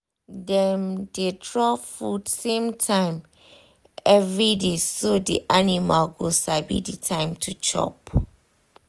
dem dey drop food same time everyday so the animal go sabi the time to chop